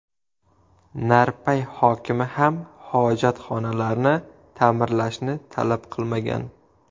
Narpay hokimi ham hojatxonalarni ta’mirlashni talab qilmagan.